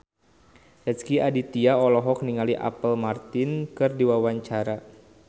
Rezky Aditya olohok ningali Apple Martin keur diwawancara